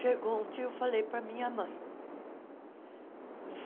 Chegou um dia eu falei para a minha mãe.